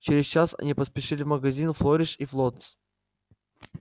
через час они поспешили в магазин флориш и флоттс